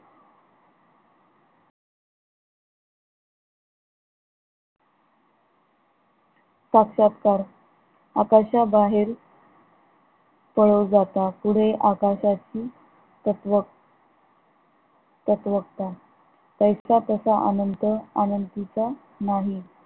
साक्षातकार आकाशाबाहेर पळो जाता, पुढे आकाशाची तत्व तत्वकता पैसा पैसा अंत अनंतीचा नाही